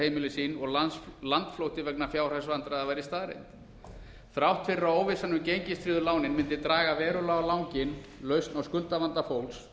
heimili sín og landflótti vegna fjárhagsvandræða væri staðreynd þrátt fyrir að óvissan um gengistryggðu lánin mundi draga verulega á langinn lausn á skuldavanda fólks